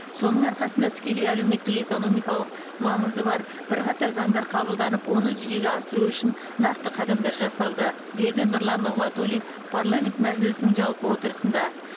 соның арқасында тікелей әлеуметтік экономикалық маңызы бар бірқатар заңдар қабылданып оны жүзеге асыру үшін нақты қадамдар жасалды деді нұрлан нығматулин парламент мәжілісінің жалпы отырысында